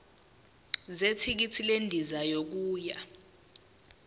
zethikithi lendiza yokuya